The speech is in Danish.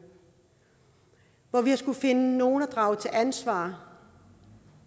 hvor vi har skullet finde nogle at drage til ansvar